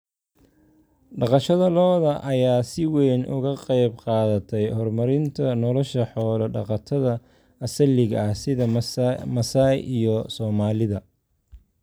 Dhaqashada lo'da lo'da ayaa si weyn uga qayb qaadatay horumarinta nolosha xoolo-dhaqatada asaliga ah sida Maasai iyo Soomaalida.